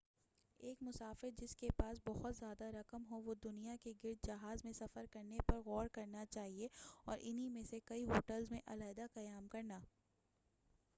ایک مسافر جس کے پاس بہت زیادہ رقم ہو وہ دنیا کے گرد جہاز میں سفر کرنے پر غور کرنا چاہیئے اور ان ہی میں سے کئی ہوٹلز میں علیٰحدہ قیام کرنا